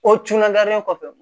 O tunnalen kɔfɛ